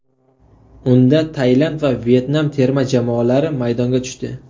Unda Tailand va Vyetnam terma jamoalari maydonga tushdi.